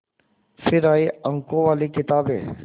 फिर आई अंकों वाली किताबें